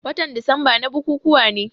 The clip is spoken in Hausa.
Watan disamba na bukukuwa ne.